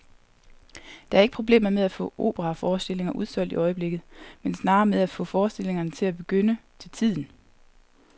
Der er ikke problemer med at få operaforestillinger udsolgt i øjeblikket, men snarere med at få forestillingerne til at begynde til tiden.